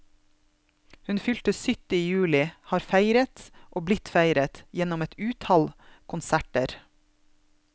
Hun fylte sytti i juli, har feiret, og blitt feiret, gjennom et utall konserter.